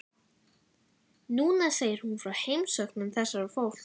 Núna segir hún frá heimsóknum þessa fólks.